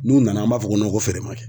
N'u nana an b'a fɔ ko ko feere ma kɛ.